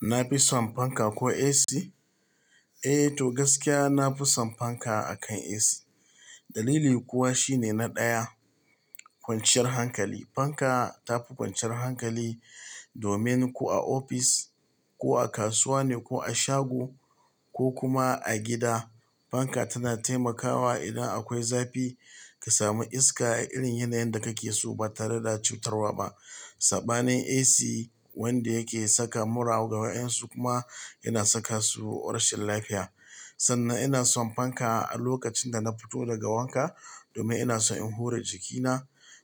Na fi son fanka ko AC? Eh, to gaskiya na fi son fanka akan AC. Dalili kuwa shine na ɗaya, kwanciyar hankali. Fanka ta fi kwanciyar hankali domin ko a ofis ko a kasuwa ne ko a shago ko kuma a gida, fanka tana taimakawa idan akwai zafi ka sami iska a irin yanayin da kake so ba tare da cutarwa ba. Saɓanin AC wanda yake saka mura ga 'yan su kuma yana saka su rashin lafiya. Sannan ina son fanka a lokacin da na fito daga wanka domin ina so in hure jikina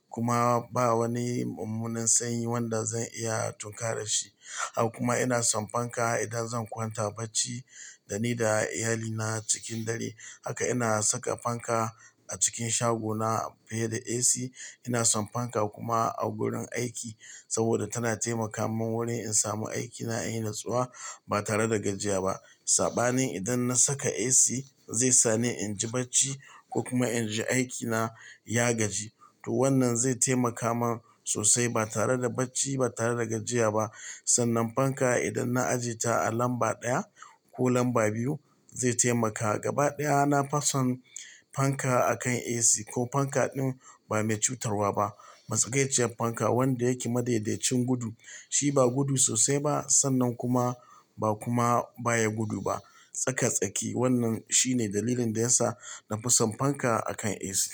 kuma ba wani mummunan sanyi wanda zan iya tunkarar shi. Har kuma ina son fanka idan zan kwanta bacci da ni da iyalina cikin dare. Haka ina saka fanka a cikin shagona fiye da AC. Ina son fanka kuma a wurin aiki saboda tana taimaka mun wurin in samu aikina a yi natsuwa ba tare da gajiya ba. Saɓanin idan na saka AC zai sa ni in ji bacci ko kuma in ji aikina ya gaji. To wannan zai taimaka mun sosai ba tare da bacci ba tare da gajiya ba. Sannan fanka idan na aje ta a lamba ɗaya ko lamba biyu zai taimaka. Gaba ɗaya na fi son fanka akan AC ko fanka ɗin ba mai cutarwa ba. Matsakaiciyar fanka wanda yake madaidaicin gudu, shi ba gudu sosai ba sannan kuma ba kuma baya gudu ba. Tsaka-tsaki. Wannan shine dalilin da yasa na fi son fanka akan AC.